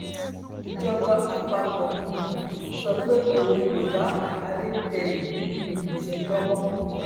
ìjọba àpapọ um sọ pé òun kò bá adédèyìn um ṣẹjọ mọ